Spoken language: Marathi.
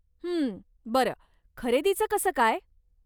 हं, बरं, खरेदीचं कसं काय?